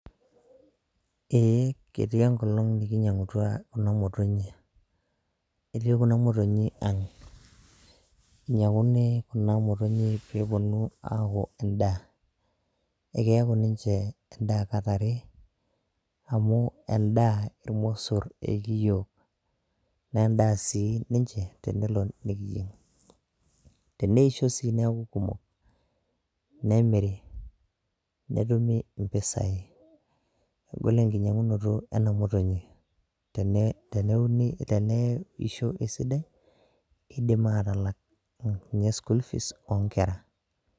Ee ketii enkolong' nikinyiangutua Kuna motonyi, etii Kuna motonyi ang', inyiang'uni Kuna motonyi pee epuonunui aaku edaa, ekeeku ninche edaa kat are, amu, edaa ilmosor ekiiyieu, naa edaa sii ninche tenelo nikiyieng, teneisho sii neeku kumok, nemiri netumi mpisai, egol enkinyiangunoto ena motonyi, teneisho esidai idim aatalak ninye school fees oo nkera.